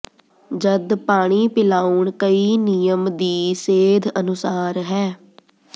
ਜਦ ਪਾਣੀ ਪਿਲਾਉਣ ਕਈ ਨਿਯਮ ਦੀ ਸੇਧ ਅਨੁਸਾਰ ਹੈ